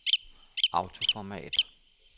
autoformat